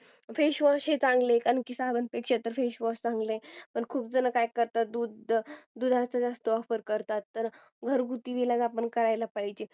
असे चांगले आहे कारण की साबणपेक्षा face wash हे चांगले आहे खूप जण काय करतात दुधाचा जास्त वापर करतात तर घरगुती इलाज आपण केला पाहिजे